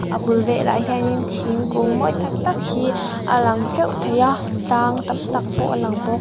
a bul velah hianin thingkung mawi tak tak hi a lang teuh thei a tlang tam tak pawh a lang bawk.